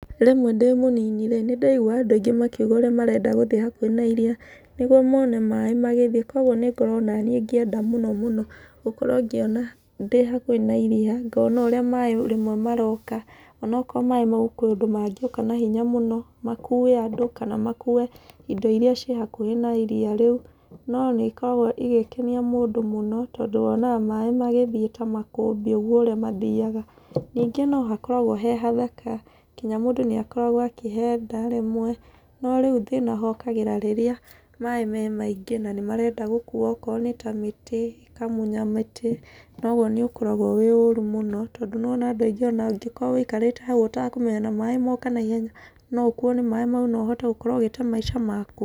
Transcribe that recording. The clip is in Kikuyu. Rĩmwe ndĩ mũnini rĩ, nĩ ndaiguaga andũ aingĩ makiuga ũrĩa marenda gũthiĩ hakuhĩ na iria, nĩguo mone maĩ magĩthiĩ. Kũguo nĩ ngoragwo ona niĩ ngĩenda mũno mũno gũkorwo ngĩona ndĩ hakuhĩ na iria, ngona ũrĩa maĩ rĩmwe maroka, ona okorwo maĩ mau kwĩ ũndũ mangĩũka na hinya mũno, makuue andũ, kana makuue indo irĩa ciĩ hakuhĩ na iria rĩu, no nĩ ĩkoragwo ĩgĩkenia mũndũ mũno, tondũ wonaga maĩ magĩthiĩ ta makũmbĩ ũguo ũrĩa mathiaga. Ningĩ no hakoragwo he hathaka, nginya mũndũ nĩ akoragwo akĩhenda rĩmwe. No rĩu thĩna hokagĩra rĩrĩa maĩ me maingĩ, na nĩ marenda gũkuua okorwo nĩ ta mĩtĩ, makamunya mĩtĩ, na ũguo nĩ ũkoragwo wĩ ũũru mũno, tondũ nĩwona andũ aingĩ ona angĩkorwo wĩikarĩte hau ũtakũmenya na maĩ moka naihenya no ũkuuo nĩ maĩ no ũhote gũkorwo ũgĩte maica maku.